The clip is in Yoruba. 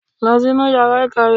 Lọ sínú yàrá ìkàwé!